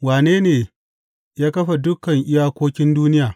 Wane ne ya kafa dukan iyakokin duniya?